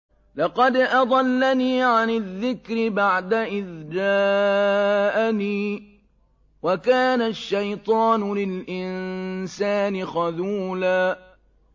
لَّقَدْ أَضَلَّنِي عَنِ الذِّكْرِ بَعْدَ إِذْ جَاءَنِي ۗ وَكَانَ الشَّيْطَانُ لِلْإِنسَانِ خَذُولًا